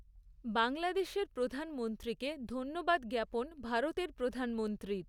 বাংলাদেশের প্রধানমন্ত্রীকে ধন্যবাদ জ্ঞাপন ভারতের প্রধানমন্ত্রীর।